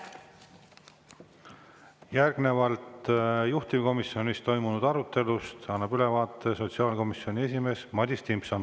Järgnevalt annab juhtivkomisjonis toimunud arutelust ülevaate sotsiaalkomisjoni esimees Madis Timpson.